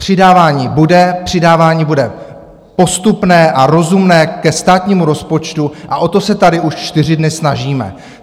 Přidávání bude, přidávání bude postupné a rozumné ke státnímu rozpočtu a o to se tady už čtyři dny snažíme.